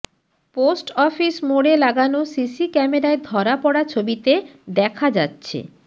post office মোড়ে লাগানো C ক্যামেরায় ধরা পড়া ছবিতে দেখা যাচ্ছে